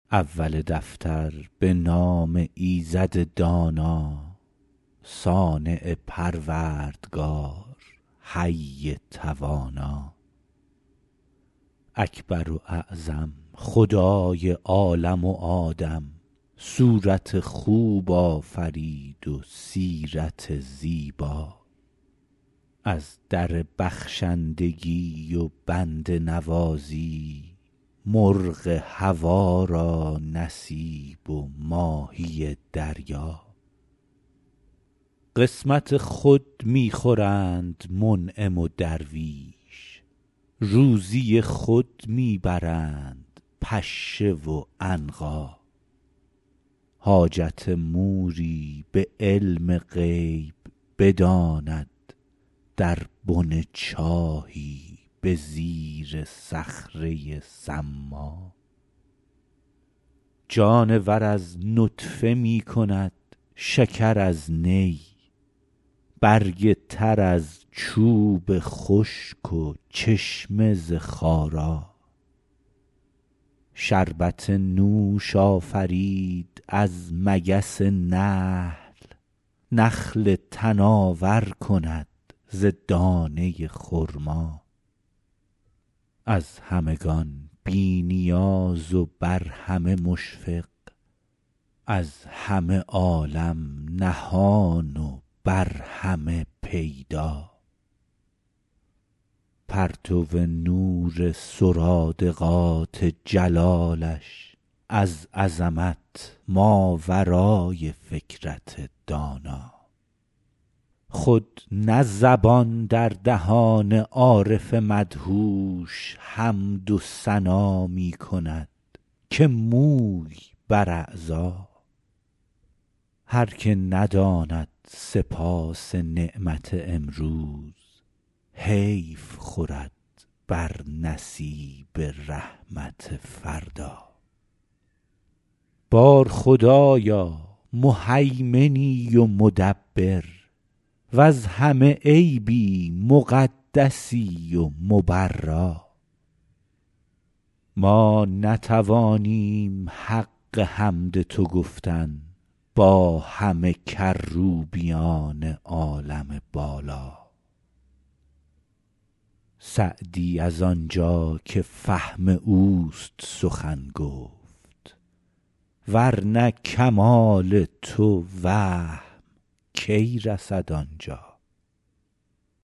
اول دفتر به نام ایزد دانا صانع پروردگار حی توانا اکبر و اعظم خدای عالم و آدم صورت خوب آفرید و سیرت زیبا از در بخشندگی و بنده نوازی مرغ هوا را نصیب و ماهی دریا قسمت خود می خورند منعم و درویش روزی خود می برند پشه و عنقا حاجت موری به علم غیب بداند در بن چاهی به زیر صخره ی صما جانور از نطفه می کند شکر از نی برگ تر از چوب خشک و چشمه ز خارا شربت نوش آفرید از مگس نحل نخل تناور کند ز دانه ی خرما از همگان بی نیاز و بر همه مشفق از همه عالم نهان و بر همه پیدا پرتو نور سرادقات جلالش از عظمت ماورای فکرت دانا خود نه زبان در دهان عارف مدهوش حمد و ثنا می کند که موی بر اعضا هر که نداند سپاس نعمت امروز حیف خورد بر نصیب رحمت فردا بار خدایا مهیمنی و مدبر وز همه عیبی مقدسی و مبرا ما نتوانیم حق حمد تو گفتن با همه کروبیان عالم بالا سعدی از آنجا که فهم اوست سخن گفت ور نه کمال تو وهم کی رسد آنجا